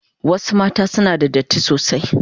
Wasu mata sim una da datti sosai.